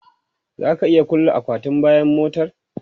Za ka iya kulle akwatin bayan motar?